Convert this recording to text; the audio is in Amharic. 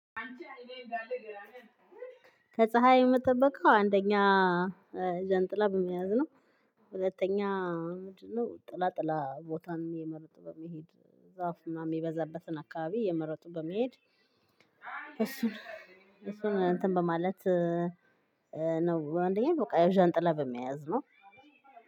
ከ ፀሀይ የምጠብቀው አንደኛ ጃንጥላ በመያዝ ነው። ሁለተኛ ምንድነው ጥላ ጥላ ቦታን የእመረጡ በመሄድ ዛፍ ምናምን የሚበዛበትን አካባቢ የእመረጡ በመሄድ እሱን እሱን እንትን በማለት ነው አንደኛ በቃ ዣንጥላ በመያዝ ነው።